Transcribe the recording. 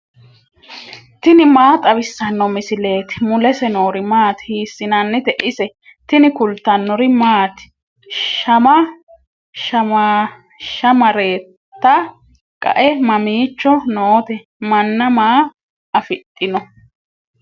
tini maa xawissanno misileeti ? mulese noori maati ? hiissinannite ise ? tini kultannori maati? Shama shammaareetta qae mamiicho nootte? Manna maa afidhinno?